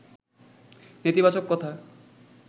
নেতিবাচক কথা